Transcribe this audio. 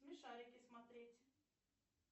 смешарики смотреть